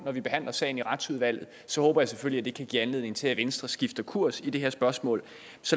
når vi behandler sagen i retsudvalget så håber jeg selvfølgelig at det kan give anledning til at venstre skifter kurs i det her spørgsmål